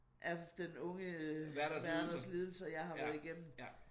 Er Den Unge Werthers Lidelser jeg har været igennem